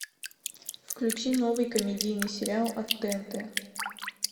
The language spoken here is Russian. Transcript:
включи новый комедийный сериал от тнт